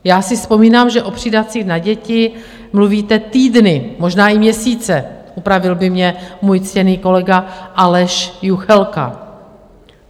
Já si vzpomínám, že o přídavcích na děti mluvíte týdny, možná i měsíce, opravil by mě můj ctěný kolega Aleš Juchelka.